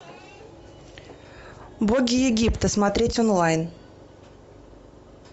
боги египта смотреть онлайн